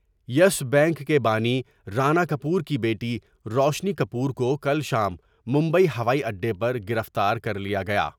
یس bank کے بانی رانا کپور کی بیٹی روشنی کپور کوکل شام مبئی ہوائی اڈے پر گرفتار کر لیا گیا ۔